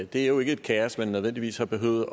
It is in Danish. det er jo ikke et kaos man nødvendigvis har behøvet